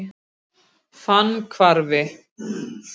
Stóð þetta yfir í heil tvö ár, með hléum þó.